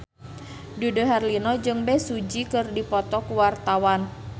Dude Herlino jeung Bae Su Ji keur dipoto ku wartawan